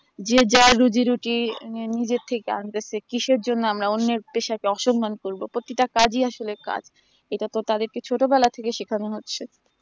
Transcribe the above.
এ যে যার যার রুজি রুচি নিজের থেকে আনতেছে কিসের জন্য আমরা অন্যের পেশাকে অসম্মান করব প্রতিটা কাজে আসলে কাজ সেটা তো তাদেরকে ছোটবেলা থেকে শেখানো হচ্ছে